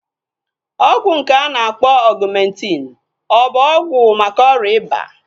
Ọgwụ nke a na-akpọ Ọgumentin ọ bụ ọgwụ maka ọrịa ịba?